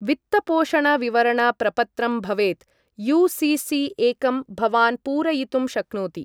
वित्तपोषण विवरण प्रपत्रं भवेत्, यु.सि.सि एकं, भवान् पूरयितुं शक्नोति।